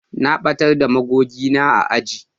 Na batar da magogi na a aji